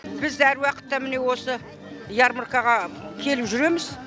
біз әр уақытта міне осы ярмаркаға келіп жүреміз